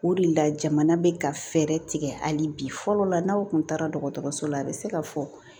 O de la jamana bɛ ka fɛɛrɛ tigɛ hali bi fɔlɔ la n'aw kun taara dɔgɔtɔrɔso la a bɛ se ka fɔ